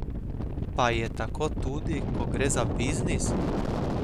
Pa je tako tudi, ko gre za biznis?